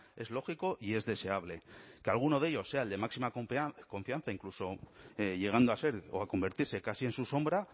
es lógico y es deseable que alguno de ellos sea el de máxima confianza incluso llegando a ser o a convertirse casi en su sombra